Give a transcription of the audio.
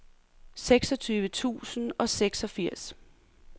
seksogtyve tusind og seksogfirs